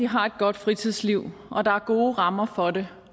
har et godt fritidsliv og at der er gode rammer for det